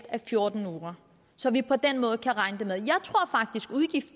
af fjorten uger så vi på den måde kan regne det